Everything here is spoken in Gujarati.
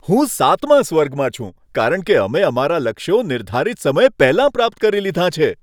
હું સાતમા સ્વર્ગમાં છું, કારણ કે અમે અમારા લક્ષ્યો નિર્ધારિત સમય પહેલાં પ્રાપ્ત કરી લીધાં છે!